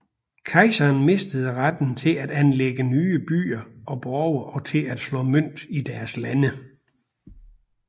Kejseren mistede retten til at anlægge nye byer og borge og til at slå mønt i deres lande